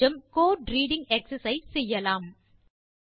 கொஞ்சம் code reading exercise செய்யலாம்